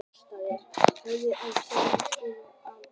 Í framhaldi af því spratt þar upp dálítið þéttbýli.